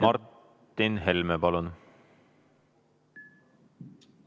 Martin Helme, palun!